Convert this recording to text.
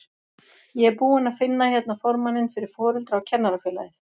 Ég er búinn að finna hérna formanninn fyrir Foreldra- og kennarafélagið!